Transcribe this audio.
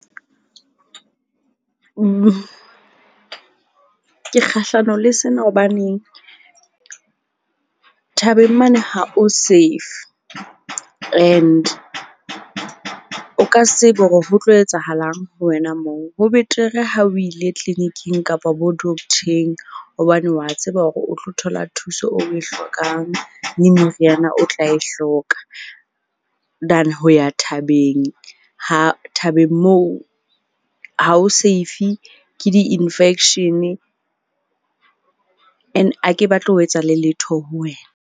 Ke kgahlano le sena hobaneng thabeng mane ha o safe and o ka se tsebe hore ho tlo etsahalang ho wena moo. Ho betere ha o ile tleliniking kapa bo-doctor-eng, hobane wa tseba hore o tlo thola thuso o e hlokang, le meriana o tla e hloka. Than ho ya thabeng ha thabeng moo ha ho safe, ke di-infection-e and ha ke batle ho etsahale letho ho wena.